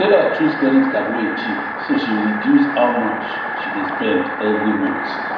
sarah choose kredit card wey cheap so she reduce how much she dey spend every month